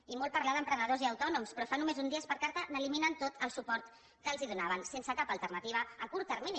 i molt parlar d’emprenedors i autònoms però fa només uns dies i per carta eliminen tot el suport que els donaven sense cap alternativa a curt termini